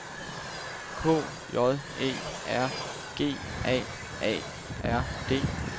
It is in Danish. K J Æ R G A A R D